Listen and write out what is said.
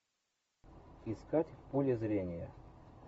искать в поле зрения